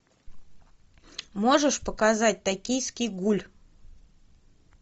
можешь показать токийский гуль